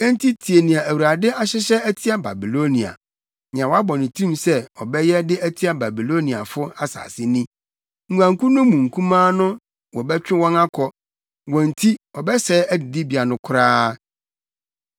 Enti tie nea Awurade ahyehyɛ atia Babilonia, nea wabɔ ne tirim sɛ ɔbɛyɛ de atia Babiloniafo asase ni: Nguankuw no mu nkumaa no wɔbɛtwe wɔn akɔ; wɔn nti ɔbɛsɛe adidibea no koraa.